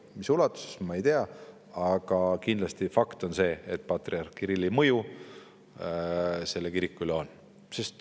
Mis ulatuses, ma ei tea, aga fakt on see, et patriarh Kirillil mõju selle kiriku üle on.